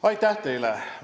Aitäh teile!